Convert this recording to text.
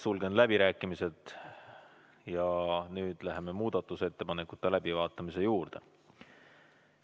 Sulgen läbirääkimised ja läheme muudatusettepanekute läbivaatamise juurde.